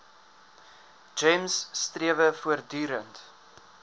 gems strewe voortdurend